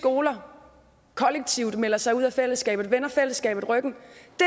skoler kollektivt melder sig ud af fællesskabet vender fællesskabet ryggen